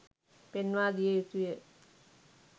පෙන්වා දිය යුතුය.